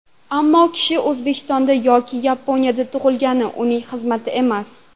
Ammo kishi O‘zbekistonda yoki Yaponiyada tug‘ilgani uning xizmati emas.